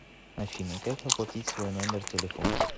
афина как оплатить свой номер телефона